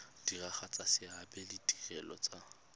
diragatsa seabe le ditiro tsa